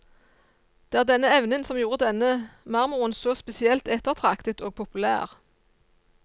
Det er denne evnen som gjorde denne marmoren så spesielt ettertraktet og populær.